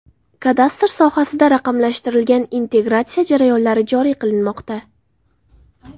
Kadastr sohasida raqamlashtirilgan integratsiya jarayonlari joriy qilinmoqda.